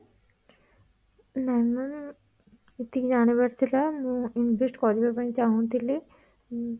ନାଇଁ ma'am ସେତିକି ଜାଣିବାର ଥିଲା ମୁଁ invest କରିବା ପାଇଁ ଚାହୁଁଥିଲି ଉଁ